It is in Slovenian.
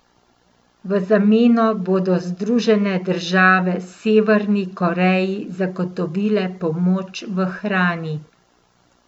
V zameno bodo Združene države Severni Koreji zagotovile pomoč v hrani.